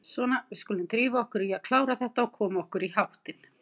Svona, við skulum drífa okkur í að klára þetta og koma okkur í háttinn.